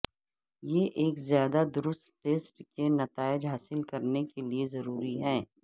یہ ایک زیادہ درست ٹیسٹ کے نتائج حاصل کرنے کے لئے ضروری ہے